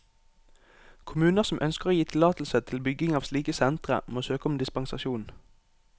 Kommuner som ønsker å gi tillatelse til bygging av slike sentre, må søke om dispensasjon.